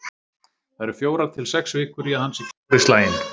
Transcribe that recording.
Það eru fjórar til sex vikur í að hann sé klár í slaginn.